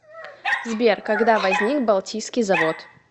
сбер когда возник балтийский завод